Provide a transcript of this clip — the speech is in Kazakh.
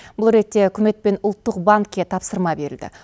бұл ретте үкімет пен ұлттық банкке тапсырма берілді